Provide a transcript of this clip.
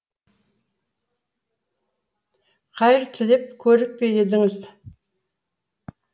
қайыр тілеп көріп пе едіңіз